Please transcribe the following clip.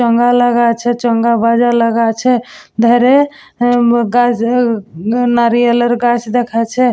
চোঙ্গা লাগা আছে চোঙ্গা লাগা আছে ধারে উম গাছ নারিয়েলের গাছ দেখাচ্ছে।